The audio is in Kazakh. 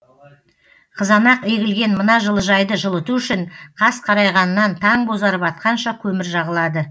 қызанақ егілген мына жылыжайды жылыту үшін қас қарайғаннан таң бозарып атқанша көмір жағылады